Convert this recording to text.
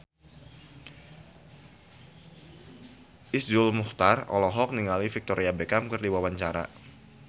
Iszur Muchtar olohok ningali Victoria Beckham keur diwawancara